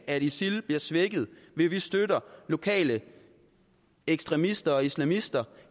at isil bliver svækket ved at vi støtter lokale ekstremister og islamister